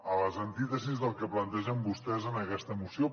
a les antítesis del que plantegen vostès en aquesta moció